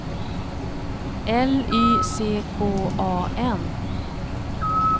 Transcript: L Y C K A N